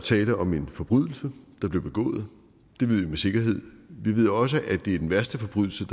tale om en forbrydelse der blev begået det ved vi med sikkerhed vi ved også at det er den værste forbrydelse